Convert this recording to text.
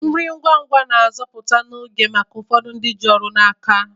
Nri ngwa ngwa na-azọpụta oge maka ụfọdụ ndị ji ọrụ n'aka